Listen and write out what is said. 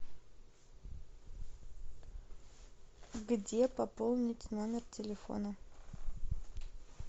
где пополнить номер телефона